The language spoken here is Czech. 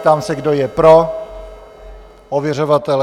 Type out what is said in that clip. Ptám se, kdo je pro ověřovatele.